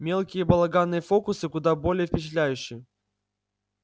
мелкие балаганные фокусы куда более впечатляющи